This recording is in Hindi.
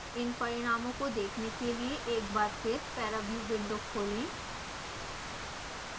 इन परिणामों को देखने के लिए एक बार फिर पैराव्यू विंडो खोलें